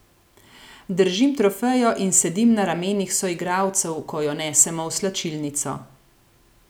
Držim trofejo in sedim na ramenih soigralcev, ko jo nesemo v slačilnico.